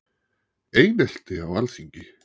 Einelti á Alþingi